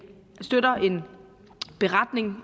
støtter en beretning